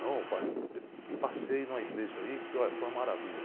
Não, passei em uma igreja aí que, óh, foi uma maravilha.